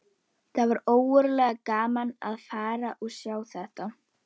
Og augun mæna á lækninn í þökk.